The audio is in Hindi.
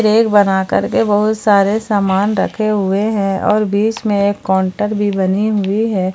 रैक बनाकर के बहुत सारे सामान रखे हुए हैं और बीच में एक काउंटर भी बनी हुई है।